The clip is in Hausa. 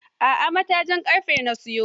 A'a matajin ƙarfe na siyo.